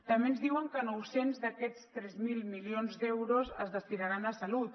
també ens diuen que nou cents d’aquests tres mil milions d’euros es destinaran a salut